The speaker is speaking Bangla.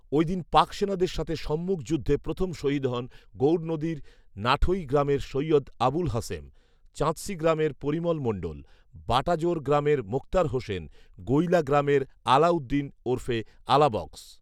ওইদিন পাক সেনাদের সাথে সম্মুখ যুদ্ধে প্রথম শহীদ হন গৌরনদীর নাঠৈ গ্রামের সৈয়দ আবুল হাসেম, চাঁদশী গ্রামের পরিমল মন্ডল, বাটাজোর গ্রামের মোক্তার হোসেন, গৈলা গ্রামের আলাউদ্দিন ওরফে আলা বক্স